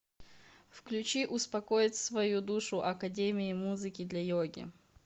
включи успокоить свою душу академии музыки для йоги